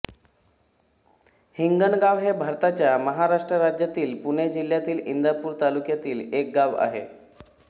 हिंगणगाव हे भारताच्या महाराष्ट्र राज्यातील पुणे जिल्ह्यातील इंदापूर तालुक्यातील एक गाव आहे